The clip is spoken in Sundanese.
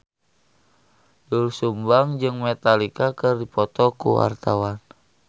Doel Sumbang jeung Metallica keur dipoto ku wartawan